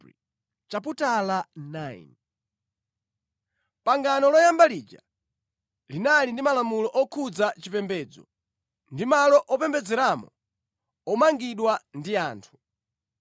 Pangano loyamba lija linali ndi malamulo okhudza chipembedzo, ndi malo opembedzeramo omangidwa ndi anthu.